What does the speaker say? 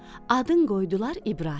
Adın qoydular İbrahim.